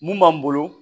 Mun b'an bolo